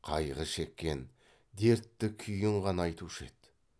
қайғы шеккен дертті күйін ғана айтушы еді